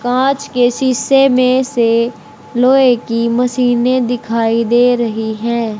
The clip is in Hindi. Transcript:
कांच के शीशे में से लोहे की मशीनें दिखाई दे रही है।